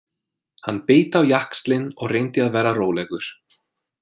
Hann beit á jaxlinn og reyndi að vera rólegur.